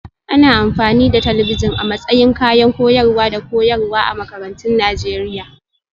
Ana amfani da talabijin a matsayin kayan koyarwa da koyarwa a makarantun Najeriya